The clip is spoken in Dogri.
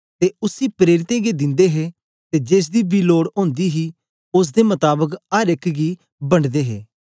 ते उसी प्रेरितें गी दिंदे हे ते जेसदी बी लोड ओंदी ही ओसदे मताबक अर एक गी बंडदे हे